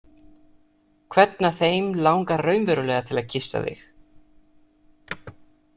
Hvern af þeim langar raunverulega til að kyssa þig?